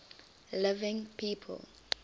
living people